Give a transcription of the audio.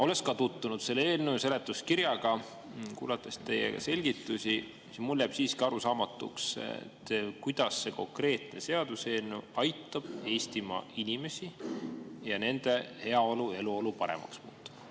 Olles ka tutvunud selle eelnõu ja seletuskirjaga ning kuulates teie selgitusi, jääb mulle siiski arusaamatuks, kuidas see konkreetne seaduseelnõu aitab Eestimaa inimesi, kuidas see aitab kaasa nende heaolule ning kuidas see aitab nende eluolu paremaks muuta.